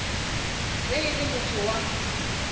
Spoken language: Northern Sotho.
ge e le motho wa